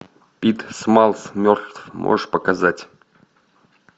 пит смаллс мертв можешь показать